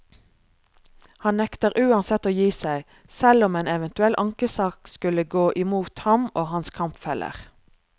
Han nekter uansett å gi seg, selv om en eventuell ankesak skulle gå imot ham og hans kampfeller.